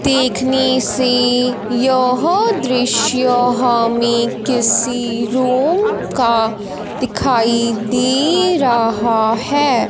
देखने से यह दृश्य हमें किसी रूम का दिखाई दे रहां हैं।